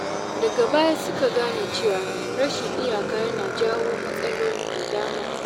Daga baya suka gane cewa rashin iyaka yana jawo matsaloli da dama.